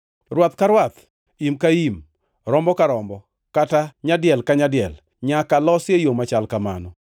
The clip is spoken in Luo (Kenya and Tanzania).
Rwath ka rwath, im ka im, rombo ka rombo, kata nyadiel ka nyadiel, nyaka losi e yo machal kamano.